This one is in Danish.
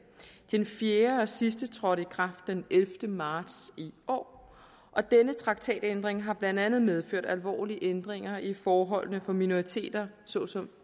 den fjerde og sidste trådte i kraft den ellevte marts i år og denne traktatændring har blandt andet medført alvorlige ændringer i forholdene for minoriteter såsom